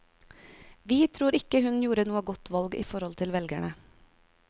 Vi tror ikke hun gjorde noe godt valg i forhold til velgerne.